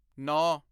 ਨੌਂ